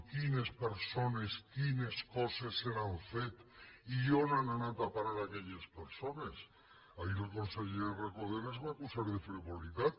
quines persones quines coses se n’han fet i on han anat a parar aquelles persones ahir el conseller recoder ens va acusar de frivolitat